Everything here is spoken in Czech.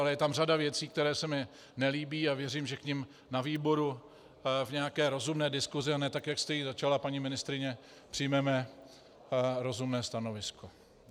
Ale je tam řada věcí, které se mi nelíbí, a věřím, že k nim na výboru v nějaké rozumné diskusi, a ne tak, jak jste ji začala, paní ministryně, přijmeme rozumné stanovisko.